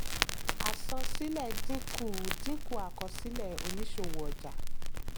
àsan-sílẹ̀ dínkù dínkù àkọsílẹ̀ òníṣòwò ọjà.